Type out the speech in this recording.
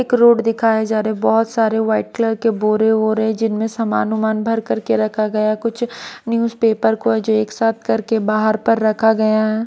एक रोड दिखाए जा रहे बहुत सारे वाइट कलर के बोरे वोरे जिनमें सामान अनुमान भर करके रखा गया कुछ न्यूज़ पेपर को जो एक साथ करके बाहर पर रखा गया है।